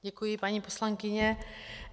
Děkuji, paní poslankyně.